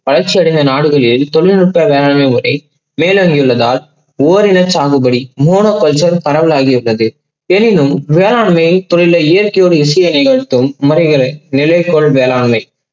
வளர்ச்சி அடைந்த நாடுகளில் தொழில்நுட்ப வேளாண்மை வரை மேலோங்கி உள்ளதால் ஓரின சாகுபடி மூல கொஞ்சம் பழதாகிவிட்டது எனினும் வேளாண்மை தொழில்ல இயற்கையோடு விஷயங்கள் அனைத்தும் நிலை பொருள் வேளாண்மை.